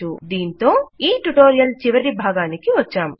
దీనితో ఈ ట్యుటోరియల్ చివరిభాగానికి వచ్చాం